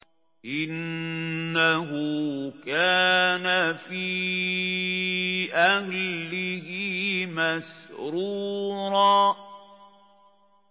إِنَّهُ كَانَ فِي أَهْلِهِ مَسْرُورًا